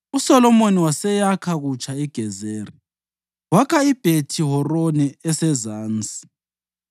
USolomoni waseyakha kutsha iGezeri.) Wakha iBhethi-Horoni esezansi,